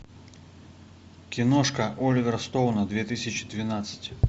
киношка оливера стоуна две тысячи двенадцать